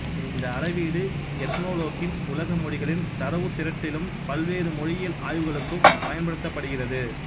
இந்த அளவீடு எத்னொலோக்கின் உலக மொழிகளின் தரவுத் திரட்டிலும் பல்வேறு மொழியியல் ஆய்வுகளுக்கும் பயன்படுத்தப்படுகிறது